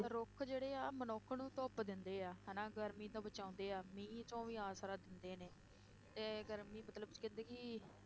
ਰੁੱਖ ਜਿਹੜੇ ਆ ਮਨੁੱਖ ਨੂੰ ਧੁੱਪ ਦਿੰਦੇ ਆ ਹਨਾ, ਗਰਮੀ ਤੋਂ ਬਚਾਉਂਦੇ ਆ, ਮੀਂਹ ਤੋਂ ਵੀ ਆਸਰਾ ਦਿੰਦੇ ਨੇ, ਤੇ ਗਰਮੀ ਮਤਲਬ ਕਹਿੰਦੇ ਕਿ